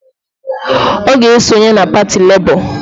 Ọ ga-esonye na pati Lebọ